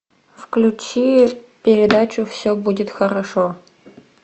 включи передачу все будет хорошо